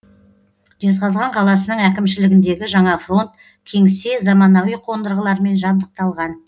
жезқазған қаласының әкімшілігіндегі жаңа фронт кеңсе заманауи қондырғылармен жабдықталған